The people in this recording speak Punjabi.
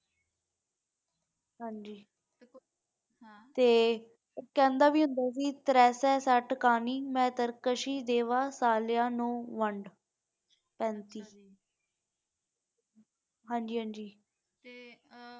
ਤੇ ਕਹਿੰਦਾ ਵੀ ਹੁੰਦਾ ਸੀ ਮੈਂ ਤਰਕ੍ਸ਼ਿ ਦੇਵਾਂ ਸਾਲਿਆਂ ਨੂੰ ਵੰਡ ਹਾਂਜੀ ਹਾਂਜੀ